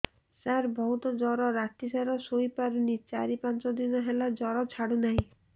ସାର ବହୁତ ଜର ରାତି ସାରା ଶୋଇପାରୁନି ଚାରି ପାଞ୍ଚ ଦିନ ହେଲା ଜର ଛାଡ଼ୁ ନାହିଁ